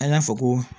An y'a fɔ ko